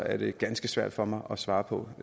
er det ganske svært for mig at svare på